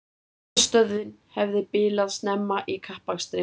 Talstöðin hefði bilað snemma í kappakstrinum